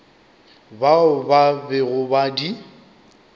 bao ba bego ba di